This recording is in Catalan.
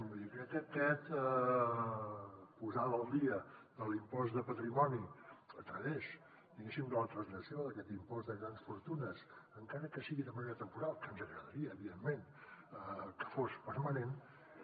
vull dir crec que aquesta posada al dia de l’impost de patrimoni a través diguéssim de la translació d’aquest impost de grans fortunes encara que sigui de manera temporal que ens agradaria evidentment que fos permanent